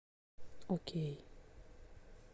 окей